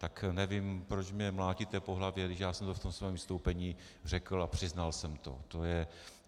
Tak nevím, proč mě mlátíte po hlavě, když já jsem to v tom svém vystoupení řekl a přiznal jsem to.